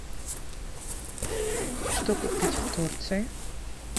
что купить в турции